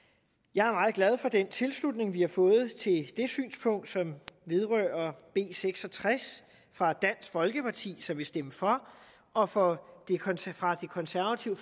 jeg er meget glad for den tilslutning vi har fået til det synspunkt som vedrører b seks og tres fra dansk folkeparti som vil stemme for og fra de konservative